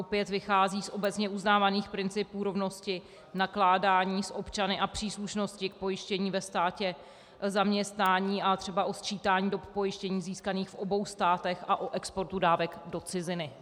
Opět vychází z obecně uznávaných principů rovnosti nakládaní s občany a příslušnosti k pojištění ve státě zaměstnání a třeba o sčítání dob pojištění získaných v obou státech a o exportu dávek do ciziny.